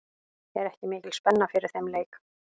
Er ekki mikil spenna fyrir þeim leik?